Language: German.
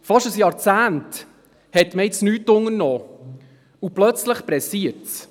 Fast ein Jahrzehnt hat man nichts unternommen und plötzlich eilt es.